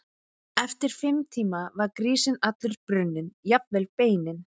Eftir fimm tíma var grísinn allur brunninn, jafnvel beinin.